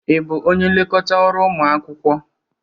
Ị bụ onye nlekọta ọrụ ụmụ akwụkwọ?